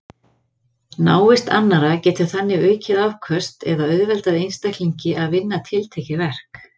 Návist annarra getur þannig aukið afköst eða auðveldað einstaklingi að vinna tiltekið verk.